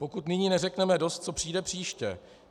Pokud nyní neřekneme dost, co přijde příště?